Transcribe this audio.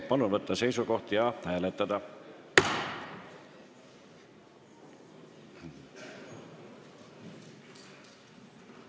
Palun võtta seisukoht ja hääletada!